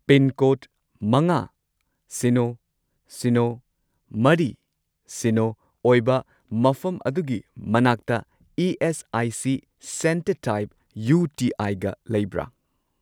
Pincode ꯃꯉꯥ, ꯁꯤꯅꯣ, ꯁꯤꯅꯣ, ꯃꯔꯤ, ꯁꯤꯅꯣ ꯑꯣꯏꯕ ꯃꯐꯝ ꯑꯗꯨꯒꯤ ꯃꯅꯥꯛꯇ ESIC. Centre type U T I ꯒ ꯂꯩꯕ꯭ꯔꯥ?